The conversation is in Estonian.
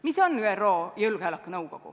Mis on ÜRO Julgeolekunõukogu?